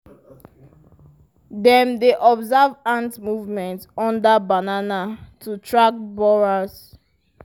dem dey observe ant movement under banana to track borers.